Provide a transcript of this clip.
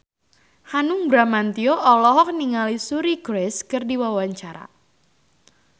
Hanung Bramantyo olohok ningali Suri Cruise keur diwawancara